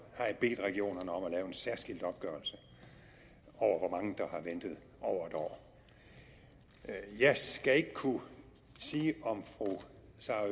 har jeg bedt regionerne om at lave en særskilt opgørelse over hvor mange der har ventet over en år jeg skal ikke kunne sige om fru